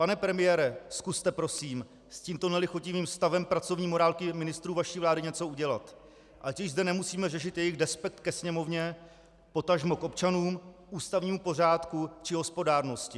Pane premiére, zkuste prosím s tímto nelichotivým stavem pracovní morálky ministrů vaší vlády něco udělat, ať už zde nemusíme řešit jejich despekt ke Sněmovně, potažmo k občanům, ústavnímu pořádku či hospodárnosti.